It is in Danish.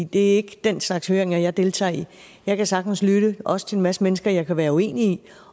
det er ikke den slags høringer jeg deltager i jeg kan sagtens lytte også til en masse mennesker jeg kan være uenig